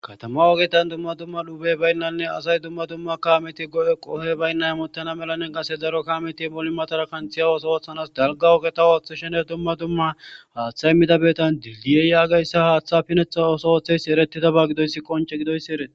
Katama wogetan dumma dumma dhubey baynnanne asay dumma dumma kaameti go7e qohey baynna hamuttana melannen qase zaro kaameti moli matara kanthiyawoso woththanas dalgawoketawooththi shener dumma dumma haaththa immidabeetan dildiyeyaagayssa haaththa pinetha oso oththeys eretida ba gidoyssi qonche gidoyssi ereti.